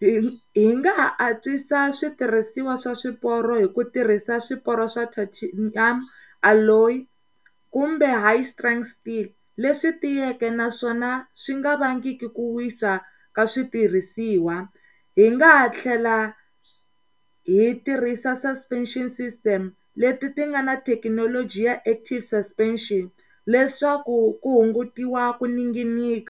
Hi, hi nga ha atswisa switirhisiwa swa swiporo hi ku tirhisa swiporo swa ti-tanium alloy kumbe high strenght steel leswi tiyeke naswona swi nga vangiki ku wisa ka switirhisiwa. Hi nga ha tlhela hi tirhisa suspension system le ti ti nga ni thekinoloji ya active suspension leswaku ku hungutiwa ku ninginika.